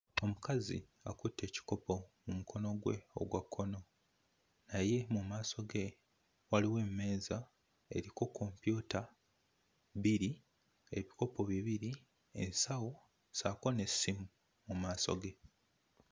Omukazi akutte ekikopo mu mukono gwe ogwa kkono. Naye mu maaso ge waliwo emmeeza eriko kompyuta bbiri, ebikopo bibiri, ensawo ssaako n'essimu mu maaso ge.'